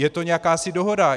Je to jakási dohoda.